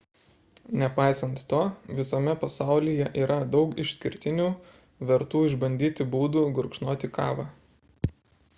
nepaisant to visame pasaulyje yra daug išskirtinių vertų išbandyti būdų gurkšnoti kavą